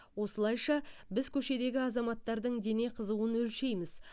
осылайша біз көшедегі азаматтардың дене қызуын өлшейміз